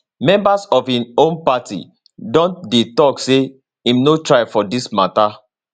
members of im own party don dey tok say im no try for dis mata